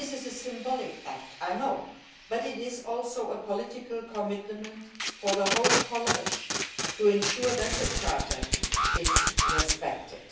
This is a symbolic act, I know, but it is also a political commitment from the whole College to ensure that the Charter is respected.